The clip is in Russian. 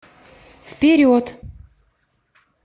вперед